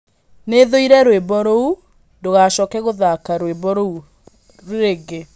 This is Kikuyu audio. nĩ thũire rwĩmbo rũu, ndũgacooke gũthaaka rwĩmbo rũu rĩngĩ.